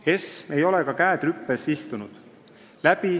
ESM ei ole ka käed rüpes istunud.